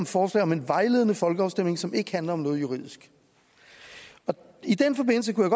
forslag om en vejledende folkeafstemning som ikke handler om noget juridisk i den forbindelse kunne